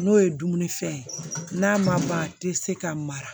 N'o ye dumunifɛn ye n'a ma ban a tɛ se ka mara